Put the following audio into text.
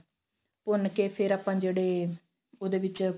ਭੁੰਨ ਕੇ ਫਿਰ ਆਪਾਂ ਜਿਹੜੇ ਉਹਦੇ ਵਿੱਚ